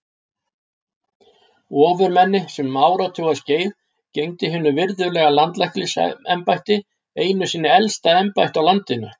Ofurmenni sem um áratuga skeið gegndi hinu virðulega landlæknisembætti, einu hinu elsta embætti á landinu.